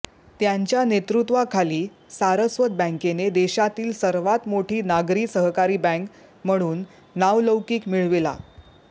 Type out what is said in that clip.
त्यांच्या नेतृत्वाखाली सारस्वत बँकेने देशातील सर्वात मोठी नागरी सहकारी बँक म्हणून नावलौकीक मिळविला